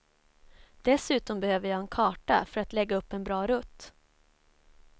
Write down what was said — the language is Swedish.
Dessutom behöver jag en karta för att lägga upp en bra rutt.